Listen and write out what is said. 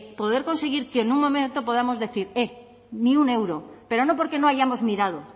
poder conseguir que en un momento podamos decir eh ni un euro pero no porque no hayamos mirado